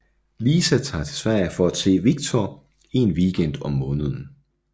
Lisa tager til Sverige for at se Victor en weekend om måneden